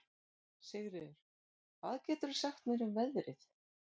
Sigríður, hvað geturðu sagt mér um veðrið?